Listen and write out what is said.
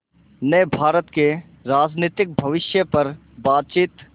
ने भारत के राजनीतिक भविष्य पर बातचीत